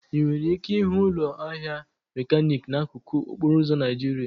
Ị nwere ike ịhụ ụlọ ahịa mekaniki n'akụkụ okporo ụzọ Naijiria.